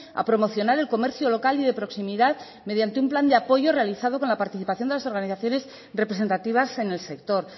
a promocionar el comercio local y de proximidad mediante un plan de apoyo realizado con la participación de las organizaciones representativas en el sector